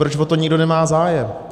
Proč o to nikdo nemá zájem?